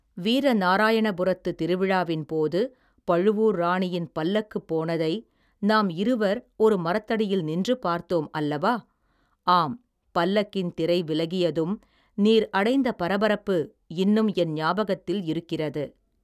வீர நாராயணபுரத்து திருவிழாவின் போது பழுவூர் ராணியின் பல்லக்கு போனதை நாம் இருவர் ஒரு மரத்தடியில் நின்று பார்த்தோம் அல்லவா ஆம் பல்லக்கின் திரை விலகியதும் நீர் அடைந்த பரபரப்பு இன்னும் என் ஞாபகத்தில் இருக்கிறது.